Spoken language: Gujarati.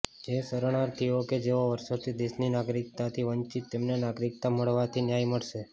જે શરણાર્થીઓ કે જેઓ વર્ષોથી દેશની નાગરિકતાથી વંચિત તેમને નાગરિકતા મળવાથી ન્યાય મળશે